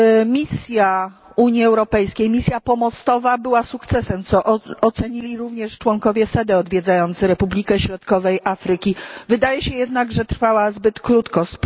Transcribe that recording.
Misja Unii Europejskiej, misja pomostowa, była sukcesem, co ocenili również członkowie SEDE odwiedzający Republikę Środkowej Afryki, wydaje się jednak, że trwała zbyt krótko.